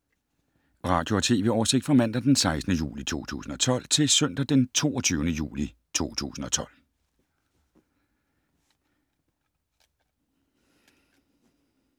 Radio/TV oversigt fra mandag d. 16. juli 2012 til søndag d. 22. juli 2012